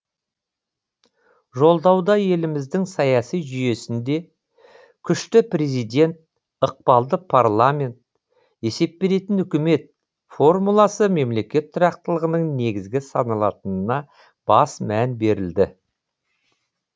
жолдауда еліміздің саяси жүйесінде күшті президент ықпалды парламент есеп беретін үкімет формуласы мемлекет тұрақтылығының негізгі саналатынына бас мән берілді